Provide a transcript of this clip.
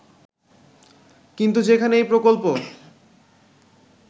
কিন্তু যেখানে এই প্রকল্প